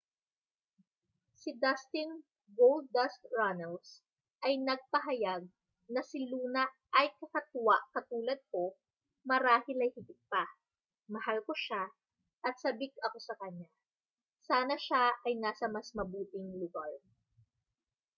si dustin goldust runnels ay nagpahayag na si luna ay kakatwa katulad ko...marahil ay higit pa...mahal ko siya at sabik ako sa kaniya...sana siya ay nasa mas mabuting lugar.